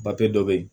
dɔ bɛ yen